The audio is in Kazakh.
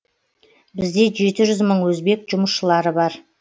бізде жеті жүз мың өзбек жұмысшылары бар